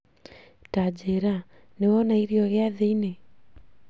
Tanjira, nĩwona irĩo gĩathĩ-inĩ